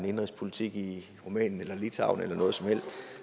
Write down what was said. indenrigspolitik i rumænien eller litauen eller noget som helst